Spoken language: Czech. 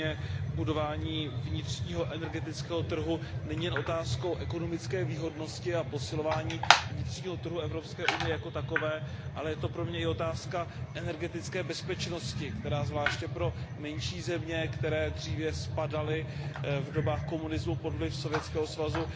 Pro mě budování vnitřního energetického trhu není jen otázkou ekonomické výhodnosti a posilování vnitřního trhu EU jako takového, ale je to pro mě i otázka energetické bezpečnosti, která je zvláště pro menší země, které dříve v dobách komunismu spadaly pod vliv Sovětského svazu,